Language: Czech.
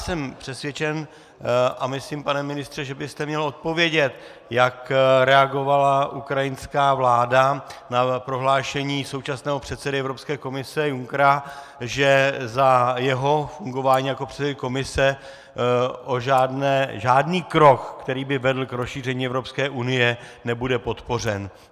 Jsem přesvědčen - a myslím, pane ministře, že byste měl odpovědět, jak reagovala ukrajinská vláda na prohlášení současného předsedy Evropské komise Junckera, že za jeho fungování jako předsedy komise žádný krok, který by vedl k rozšíření Evropské unie, nebude podpořen.